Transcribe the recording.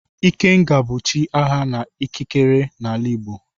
Ikenga bụ chi agha na ikikere n'ala Igbo.